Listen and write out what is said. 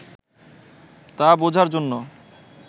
তা বুঝার জন্য